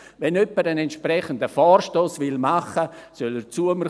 Wenn jemand einen entsprechenden Vorstoss machen will, soll er zu mir kommen.